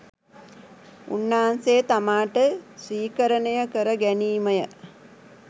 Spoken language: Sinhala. උන්නාන්සේ තමාට ස්වීකරණය කර ගැනීමය.